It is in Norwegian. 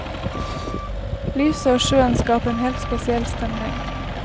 Lyset og sjøen skaper en helt spesiell stemning.